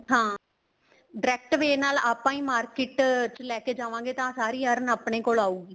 ਹਾਂ direct way ਨਾਲ ਆਪਾਂ ਹੀ market ਚ ਲੈਕੇ ਜਾਵਾਗੇ ਤਾਂ ਸਾਰੀ earn ਆਪਣੇ ਕੋਲ ਆਓਗੀ